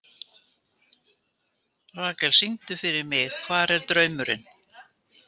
Rakel, syngdu fyrir mig „Hvar er draumurinn“.